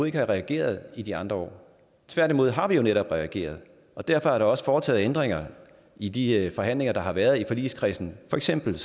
ikke har reageret i de andre år tværtimod har vi netop reageret og derfor er der også foretaget ændringer i de forhandlinger der har været i forligskredsen for eksempel